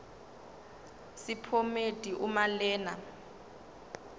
sephomedi uma lena